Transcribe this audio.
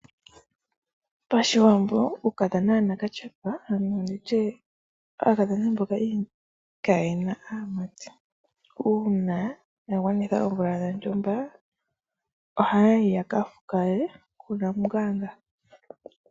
Pashiwambo uukakadhona wanakatyepa nenge nditye aakadhona mboka kaayena aamati . Uuna ya gwanitha oomvula dhontumba ohaya yi yakafukale kunamunganga.